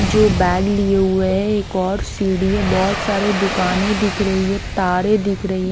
जो बैग लिए हुए हैं एक और सीढ़ी है बहुत सारे दुकानें दिख रही है तारे दिख रही है।